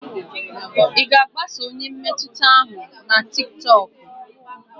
Ị ga-agbaso onye mmetụta ahụ na tiktokụ?